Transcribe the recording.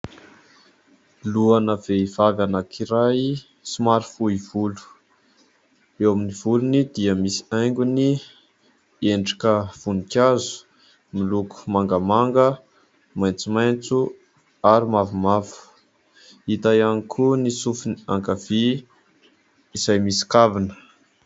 Lohana vehivavy anankiray somary fohy volo, eo amin'ny volony dia misy haingony endrika voninkazo miloko mangamanga, maitsomaitso ary mavomavo. Hita ihany koa ny sofiny ankavia izay misy kavina.